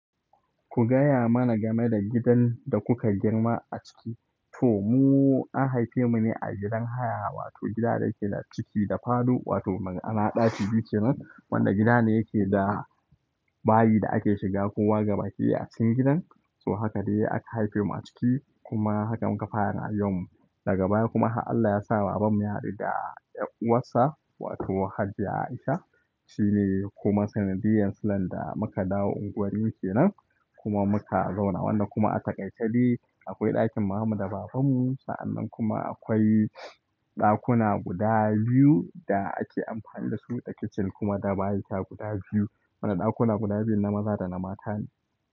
Ku gaya mana game da gidan da kuka girma a ciki. To mu an haife mu ne a gidan haya wato gida da yake da ciki da falo wato ma'ana ɗaki biyu kenan. Wanda gida ne yake da bayi da ake shiga kowa gaba ki daya a cikin gidan. To haka dai aka haife mu a ciki kuma haka muka fara rayuwan mu. Daga baya kuma har Allah ya sa baban mu ya hadu da ƴar uwarsa wato Hajiya Aisha. Shine kuma sanadiyan silan da muka dawo unguwan nan kenan kuma muka zauna. Wanda kuma a takaice dai akwai ɗakin maman mu da baban mu san'annan kuma akwai ɗakuna guda biyu da ake amfani dasu da kicin kuma da bayan gida guda biyu. Wannan ɗakuna guda biyun na maza da na mata ne.